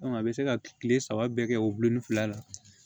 a bɛ se ka kile saba bɛɛ kɛ o bulon ni fila la